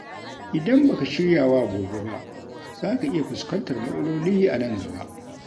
Idan ba ka shirya wa gobe ba, za ka iya fuskantar matsaloli a nan gaba.